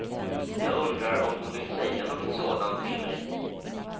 Jag undrar om hon vill säga något sådant till mig.